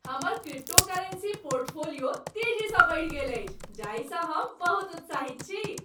हमर cryptocurrency portfolio तेजीसँ बढ़ि गेल अछि जाहिसँ हम बहुत उत्साहित छी ।